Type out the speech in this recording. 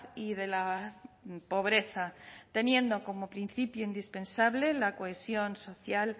y de la pobreza teniendo como principio indispensable la cohesión social